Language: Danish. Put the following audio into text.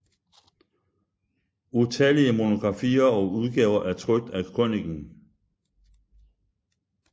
Utallige monografier og udgaver er trykt af krøniken